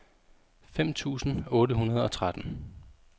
fem tusind otte hundrede og tretten